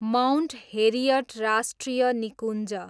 Mount Harriet राष्ट्रिय निकुञ्ज